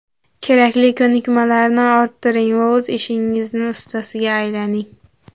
Kerakli ko‘nikmalarni orttiring va o‘z ishingizning ustasiga aylaning.